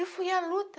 Eu fui à luta.